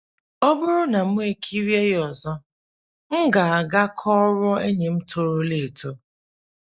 □ Ọ bụrụ na mụ ekirie ya ọzọ, m ga - aga kọọrọ enyi m torola eto.